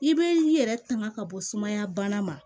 I be i yɛrɛ tanga ka bɔ sumaya bana ma